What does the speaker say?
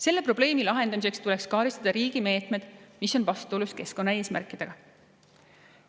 Selle probleemi lahendamiseks tuleks karistada riigi meetmed, mis on vastuolus keskkonnaeesmärkidega.